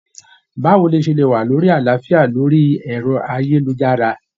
Báwo lo ṣe lè wà ní àlàáfíà lórí ẹ̀rọ-ayélujára?